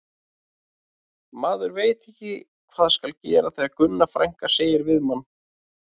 Maður veit ekki hvað skal gera þegar Gunna frænka segir við mann